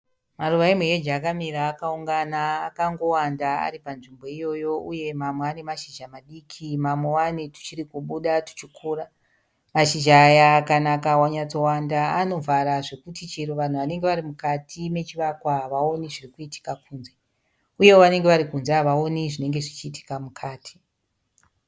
Maruva emuheji akamira akaungana akangowanda ari panzvimbo iyoyo. Uye mamwe ane mashizha madikii mamwewo ane tuchiri kubuda tuchikura. Mashizha aya kana akanyatsowanda anovhara zvekuti chero vanhu vanenge varimukati mechivakwa havaoni zvirikuitika kunze. Uyewo vanenge varikunze havaoni zvinenge zvichiitika mukati.